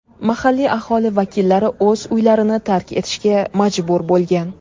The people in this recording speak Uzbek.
Mahalliy aholi vakillari o‘z uylarini tark etishga majbur bo‘lgan.